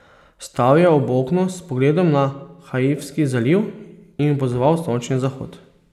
Stal je ob oknu s pogledom na Haifski zaliv in opazoval sončni zahod.